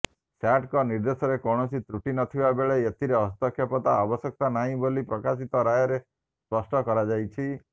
ସ୍ୟାଟଙ୍କ ନିର୍ଦ୍ଦେଶରେ କୌଣସି ତ୍ରୁଟି ନଥିବା ବେଳେ ଏଥିରେ ହସ୍ତକ୍ଷେପର ଆବଶ୍ୟକତା ନାହିଁ ବୋଲି ପ୍ରକାଶିତ ରାୟରେ ସ୍ପଷ୍ଟ କରାଯାଇଛି